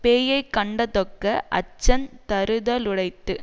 பேயைக்கண்டதொக்க அச்சந் தருதலுடைத்து